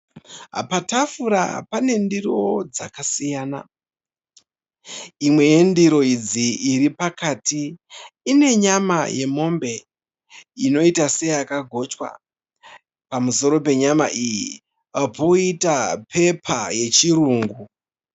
Patafura pane ndiro dzakasiyana. Imwe yendiro idzi iri pakati ine nyama yemombe inoita seyakagochwa. Pamusoro penyama iyi poita pepa yechirungu.